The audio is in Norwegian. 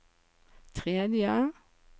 tredje